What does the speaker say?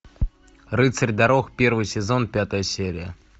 рыцарь дорог первый сезон пятая серия